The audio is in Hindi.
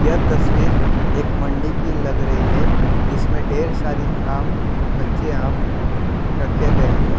यह तस्वीर एक मंडी की लग रही है जिसमें ढेर सारी आम कच्चे आम रखे गए हैं।